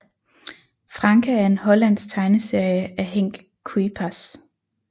Franka er en hollandsk tegneserie af Henk Kuijpers